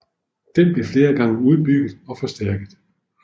Den blev flere gange udbygget og forstærket